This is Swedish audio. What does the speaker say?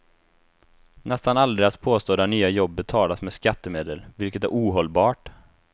Nästan alla deras påstådda nya jobb betalas med skattemedel, vilket är ohållbart.